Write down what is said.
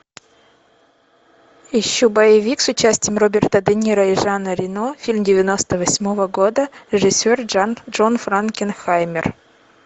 ищу боевик с участием роберта де ниро и жана рено фильм девяносто восьмого года режиссер джон франкенхаймер